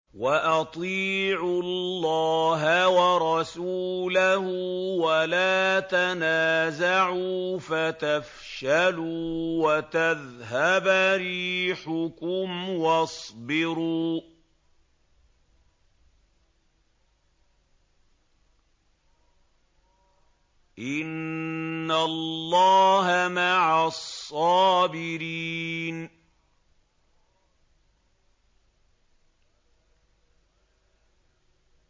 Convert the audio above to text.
وَأَطِيعُوا اللَّهَ وَرَسُولَهُ وَلَا تَنَازَعُوا فَتَفْشَلُوا وَتَذْهَبَ رِيحُكُمْ ۖ وَاصْبِرُوا ۚ إِنَّ اللَّهَ مَعَ الصَّابِرِينَ